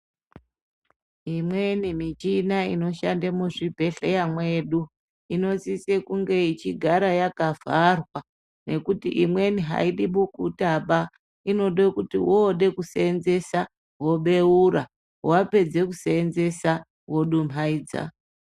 Imweni michina inoshande muzvi bhedhlera mwedu inosise kunge ichigara yaka vharwa nekuti imweni haidi bukutaba inode kuti wode kuseenzesa wobeura wapedza kuseenzesa wodumhaidza